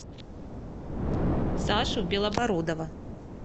сашу белобородова